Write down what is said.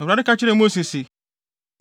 Awurade ka kyerɛɛ Mose se,